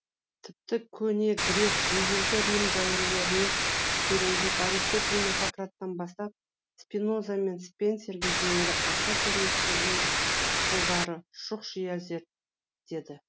тіпті көне грек ежелгі рим дәуірлеріне тереңдеп аристотель мен сократтан бастап спиноза мен спенсерге дейінгі аса көрнекті ойшылдары шұқшия зерттеді